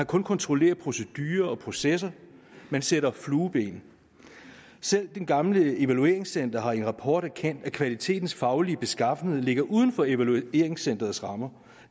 kun kontrollere procedurer og processer man sætter flueben selv det gamle evalueringscenter har i en rapport erkendt at kvalitetens faglige beskaffenhed ligger uden for evalueringscenterets rammer